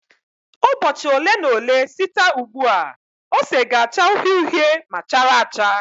Ụbọchị ole na ole site ugbu a ose ga-acha uhie uhie ma chara acha.